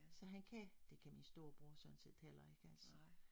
Så han kan det kan min storebror sådan set heller ikke altså